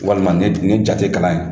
Walima nin dun nin ja tɛ kalan yan.